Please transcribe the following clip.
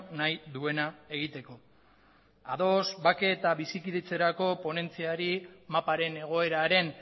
nahi duena egiteko ados bake eta bizikidetzarako ponentziari maparen egoeraren